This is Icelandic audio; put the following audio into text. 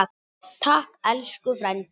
Takk elsku frændi.